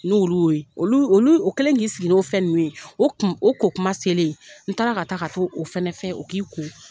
N'olu y'o ye olu olu o kɛlen k'i sigi ni fɛn ninnu ye o kun o ko kuma selen n taara ka taa ka to o fanɛ fɛ o k'i ko.